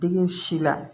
Digi si la